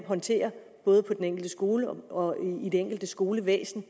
håndtere både på den enkelte skole og i det enkelte skolevæsen